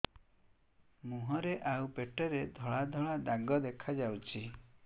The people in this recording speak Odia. ମୁହଁରେ ଆଉ ପେଟରେ ଧଳା ଧଳା ଦାଗ ଦେଖାଯାଉଛି